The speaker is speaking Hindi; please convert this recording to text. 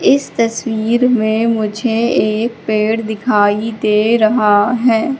इस तस्वीर में मुझे एक पेड़ दिखाई दे रहा है।